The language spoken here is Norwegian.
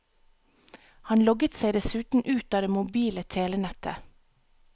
Han logget seg dessuten ut av det mobile telenettet.